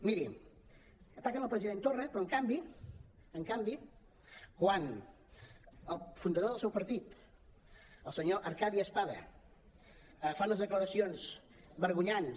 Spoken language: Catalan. miri ataquen el president torra però en canvi en canvi quan el fundador del seu partit el senyor arcadi espada fa unes declaracions vergonyants